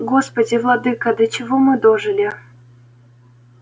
господи владыко до чего мы дожили